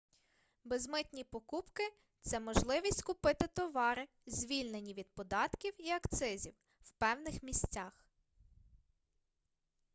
безмитні покупки це можливість купити товари звільнені від податків і акцизів в певних місцях